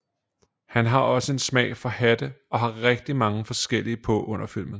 Han har også en smag for hatte og har rigtig mange forskellige på under filmen